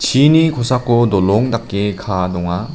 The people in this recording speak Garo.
chini kosako dolong dake kaa donga.